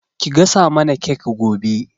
Ki gasa mana kek gobe.